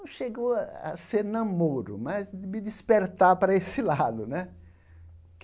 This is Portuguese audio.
Não chegou a ser namoro, mas de me despertar para esse lado né.